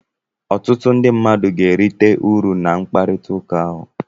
ọtụtụ ndị mmadụ ga-erite uru na mkpakọrịta ahụ